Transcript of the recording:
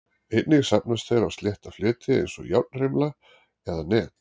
Einnig safnast þeir á slétta fleti eins og járnrimla eða net.